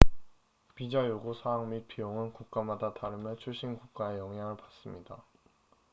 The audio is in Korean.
비자 요구 사항 및 비용은 국가마다 다르며 출신 국가의 영향을 받습니다